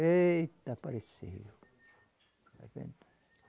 Eita, apareceu. Está vendo?